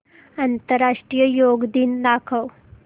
आंतरराष्ट्रीय योग दिन दाखव